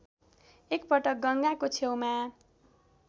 एकपटक गङ्गाको छेउमा